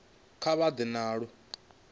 kha vha ḓe na lu